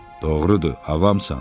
Doğrudur, avamsan.